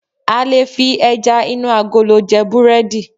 a lè fi eja inu agolo je burẹdi